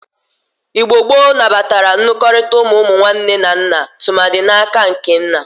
Igbo gboo nabatara nlụrịkọta ụmụ ụmụnwanne nne na nna tụmadị n'aka nke nna.